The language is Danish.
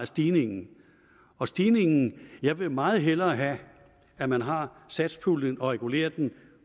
stigningen af stigningen jeg vil meget hellere have at man har satspuljen og regulerer den